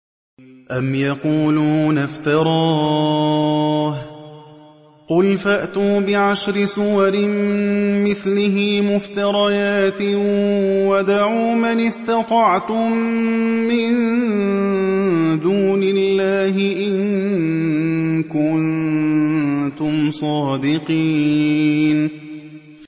أَمْ يَقُولُونَ افْتَرَاهُ ۖ قُلْ فَأْتُوا بِعَشْرِ سُوَرٍ مِّثْلِهِ مُفْتَرَيَاتٍ وَادْعُوا مَنِ اسْتَطَعْتُم مِّن دُونِ اللَّهِ إِن كُنتُمْ صَادِقِينَ